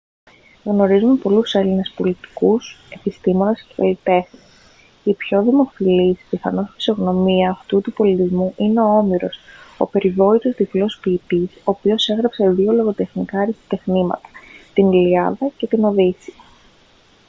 γνωρίζουμε πολλούς έλληνες πολιτικούς επιστήμονες και καλλιτέχνες η πιο δημοφιλής πιθανώς φυσιογνωμία αυτού του πολιτισμού είναι ο όμηρος ο περιβόητος τυφλός ποιητής ο οποίος έγραψε δύο λογοτεχνικά αριστοτεχνήματα την ιλιάδα και τη οδύσσεια